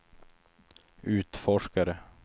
utforskare